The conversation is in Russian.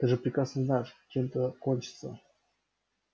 ты же прекрасно знаешь чем это кончится